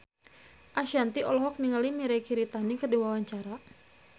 Ashanti olohok ningali Mirei Kiritani keur diwawancara